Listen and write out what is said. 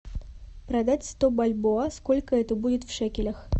продать сто бальбоа сколько это будет в шекелях